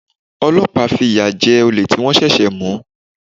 Ọlọ́pàá fi ìyà jẹ olè tí wọ́n ṣẹ̀ṣẹ̀ mú.